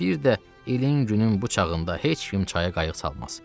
Bir də ilin-günüm bu çağında heç kim çaya qayıq salmaz.